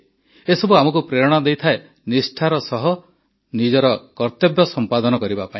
ଏସବୁ ଆମକୁ ପ୍ରେରଣା ଦେଇଥାଏ ନିଷ୍ଠାର ସହ ନିଜର କର୍ତ୍ତବ୍ୟ ସମ୍ପାଦନ କରିବା ପାଇଁ